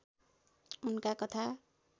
उनका कथा